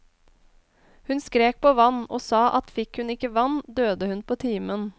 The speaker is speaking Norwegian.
Hun skrek på vann, og sa at fikk hun ikke vann, døde hun på timen.